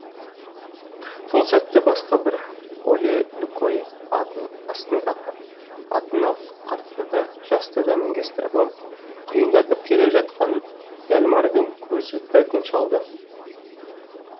сол сәтте басқа бір оле лукойе атын астындағы атына қартты да жасты да мінгестіріп алып құйындатып келе жатқанын яльмардың көзі бірден шалды